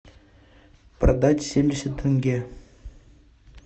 продать семьдесят тенге